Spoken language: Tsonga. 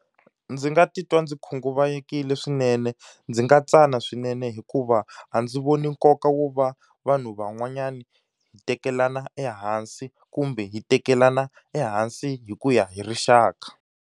Ndzi nga titwa ndzi khunguvanyisekile swinene ndzi nga tsana swinene hikuva, a ndzi voni nkoka wo va vanhu van'wanyana hi tekelana ehansi kumbe hi tekelana ehansi hi ku ya hi rixaka.